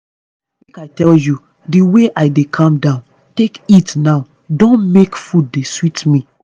make i tell you the way i dey calm down take eat now don make food dey sweet me.